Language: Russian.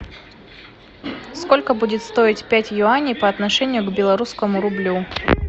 сколько будет стоить пять юаней по отношению к белорусскому рублю